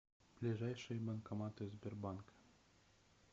ближайшие банкоматы сбербанка